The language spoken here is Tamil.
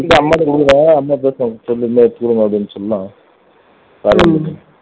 சரி அம்மாகிட்ட குடுக்கிறேன் அம்மா பேசுவாங்க இருந்தா எடுத்துக்குடு அப்படின்னு சொல்லுவாங்க